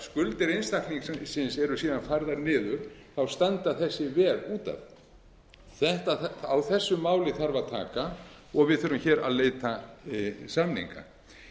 skuldir einstaklingsins eru síðan færðar niður standa þessi veð út af á þessu máli þarf að taka og við þurfum hér að leita samninga